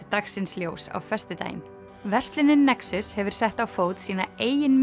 dagsins ljós á föstudaginn verslunin nexus hefur sett á fót sína eigin